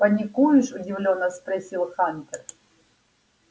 паникуешь удивлённо спросил хантер